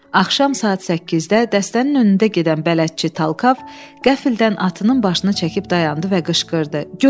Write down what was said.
Axşam saat 8-də dəstənin önündə gedən bələdçi Talkov qəflətən atının başını çəkib dayandı və qışqırdı: Göl!